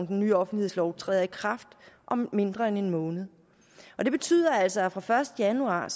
den nye offentlighedslov træder i kraft om mindre end en måned og det betyder altså at vi fra første januar